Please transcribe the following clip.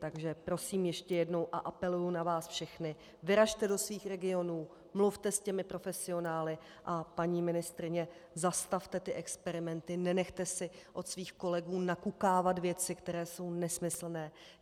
Takže prosím ještě jednou a apeluji na vás všechny - vyražte do svých regionů, mluvte s těmi profesionály, a paní ministryně, zastavte ty experimenty, nenechte si od svých kolegů nakukávat věci, které jsou nesmyslné.